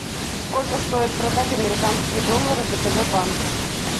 сколько стоит продать американские доллары в втб банке